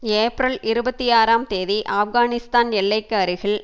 ஏப்பிரல் இருபத்தி ஆறாம் தேதி ஆப்கானிஸ்தான் எல்லைக்கு அருகில்